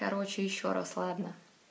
короче ещё раз ладно